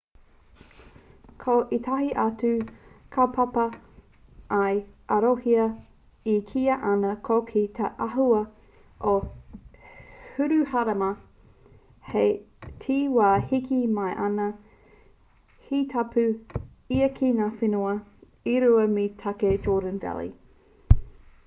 ko ētahi atu kaupapa i arohia e kīia ana ko te āhua o hiruharama hei te wā e heke mai ana he tapu ia ki ngā whenua e rua me te take jordan valley